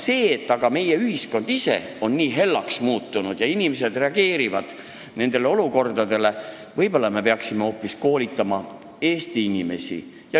See, et meie ühiskond ise on nii hellaks muutunud ja inimesed reageerivad nendele olukordadele nii, näitab, et võib-olla me peaksime hoopis koolitama Eesti inimesi.